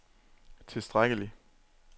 tilstrækkelig